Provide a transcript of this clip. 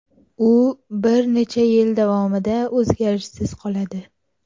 U bir necha yil davomida o‘zgarishsiz qoladi.